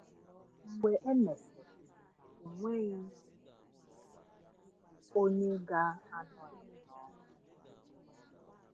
Mgbe e mesịrị, ọ nweghị onye ga-anọghị n’ọrụ.